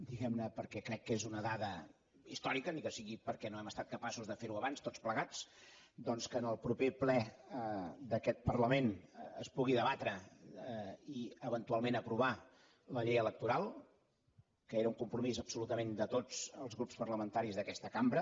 diguem ne perquè crec que és una dada històrica ni que sigui perquè no hem estat capaços de fer ho abans tots plegats doncs que en el proper ple d’aquest parlament es pugui debatre i eventualment aprovar la llei electoral que era un compromís absolutament de tots els grups parlamentaris d’aquesta cambra